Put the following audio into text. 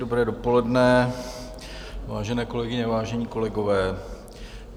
Dobré dopoledne, vážené kolegyně, vážení kolegové.